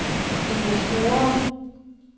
investorer